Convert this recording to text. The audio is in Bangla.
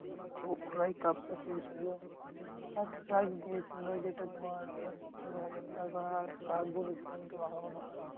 তো ওরাই cup টা পেয়েছিলো। first prize দিয়েছিলো যেটা তোমার আহ হাজার টাকা আর cup গুলো